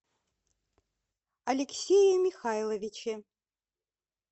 алексее михайловиче